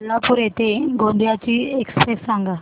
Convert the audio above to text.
कोल्हापूर ते गोंदिया ची एक्स्प्रेस सांगा